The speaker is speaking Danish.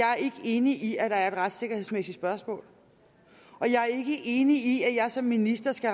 jeg er ikke enig i at der er et retssikkerhedsmæssigt spørgsmål og jeg er ikke enig i at jeg som minister skal